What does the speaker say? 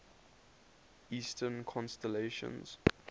eastern constellations